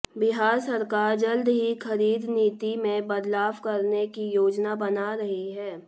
बिहार सरकार जल्द ही खरीद नीति में बदलाव करने की योजना बना रही है